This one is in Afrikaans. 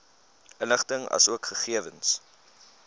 inligting asook gegewens